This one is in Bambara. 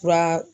Fura